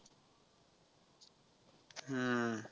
हम्म